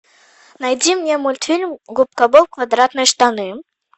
найди мне мультфильм губка боб квадратные штаны